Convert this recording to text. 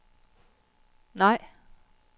nej